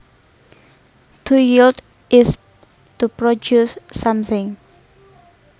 To yield is to produce something